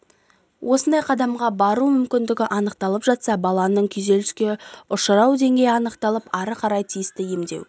осындай қадамға бару мүмкіндігі анықталып жатса баланын күйзеліске ұшырау денгейі анықталып ары қарай тиісті емдеу